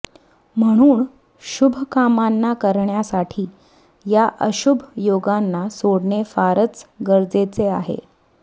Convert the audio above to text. म्हणून शुभ कामांना करण्यासाठी या अशुभ योगांना सोडणे फारच गरजेचे आहे